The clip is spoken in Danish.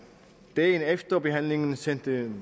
dagen efter behandlingen sendte